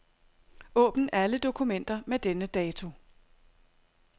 Åbn alle dokumenter med denne dato.